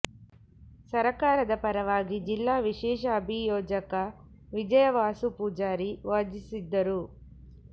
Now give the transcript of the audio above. ಸರಕಾರದ ಪರವಾಗಿ ಜಿಲ್ಲಾ ವಿಶೇಷ ಅಭಿಯೋಜಕ ವಿಜಯ ವಾಸು ಪೂಜಾರಿ ವಾದಿಸಿದ್ದರು